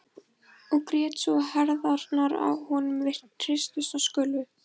Og grét svo að herðarnar á honum hristust og skulfu.